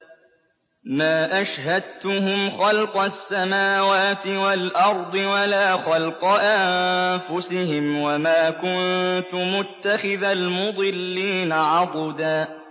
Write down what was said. ۞ مَّا أَشْهَدتُّهُمْ خَلْقَ السَّمَاوَاتِ وَالْأَرْضِ وَلَا خَلْقَ أَنفُسِهِمْ وَمَا كُنتُ مُتَّخِذَ الْمُضِلِّينَ عَضُدًا